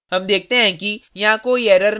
हम देखते हैं कि यहाँ कोई error नहीं है